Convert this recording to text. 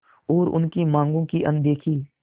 और उनकी मांगों की अनदेखी